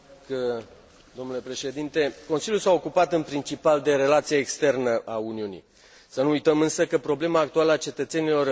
Consiliul s a ocupat în principal de relația externă a Uniunii. Să nu uităm, însă, că problema actuală a cetățenilor europeni este situația economică.